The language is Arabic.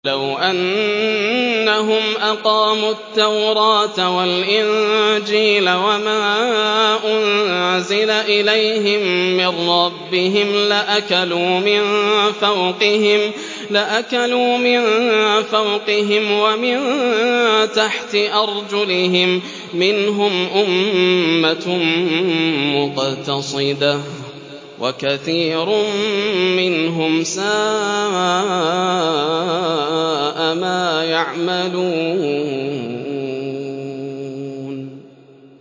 وَلَوْ أَنَّهُمْ أَقَامُوا التَّوْرَاةَ وَالْإِنجِيلَ وَمَا أُنزِلَ إِلَيْهِم مِّن رَّبِّهِمْ لَأَكَلُوا مِن فَوْقِهِمْ وَمِن تَحْتِ أَرْجُلِهِم ۚ مِّنْهُمْ أُمَّةٌ مُّقْتَصِدَةٌ ۖ وَكَثِيرٌ مِّنْهُمْ سَاءَ مَا يَعْمَلُونَ